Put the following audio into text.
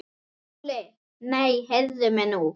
SKÚLI: Nei, heyrið mig nú!